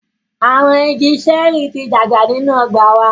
Awọn ìgi ṣẹẹri ti dàgbà ninu ọgba wà